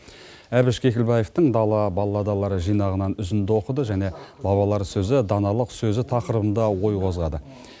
әбіш кекілбаевтың дала балладалары жинағынан үзінді оқыды және бабалар сөзі даналық сөзі тақырыбында ой қозғады